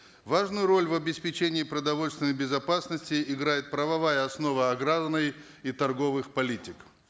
важную роль в обеспечении продовольственной безопасности играет правовая основа аграрной и торговых политик